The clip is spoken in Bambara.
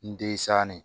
N disanin